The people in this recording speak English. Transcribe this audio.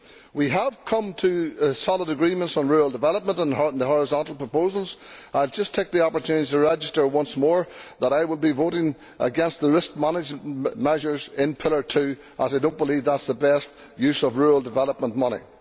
We have come to solid agreements on rural development and the horizontal proposals and I will just take the opportunity to register once more that I will be voting against the risk management measures in Pillar Two, as I do not believe that this is the best use of rural development money.